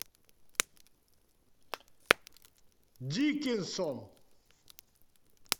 дикинсон